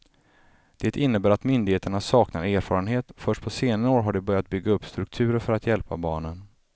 Det innebär att myndigheterna saknar erfarenhet, först på senare år har de börjat bygga upp strukturer för att hjälpa barnen.